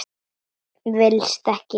Villist ekki!